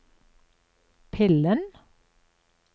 pillen